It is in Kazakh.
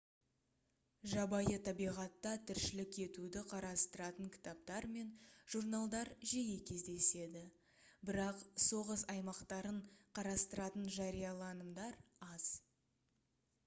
жабайы табиғатта тіршілік етуді қарастыратын кітаптар мен журналдар жиі кездеседі бірақ соғыс аймақтарын қарастыратын жарияланымдар аз